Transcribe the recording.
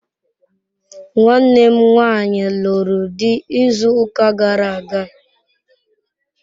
Nwanne m nwanyi luru di izu uka gara aga..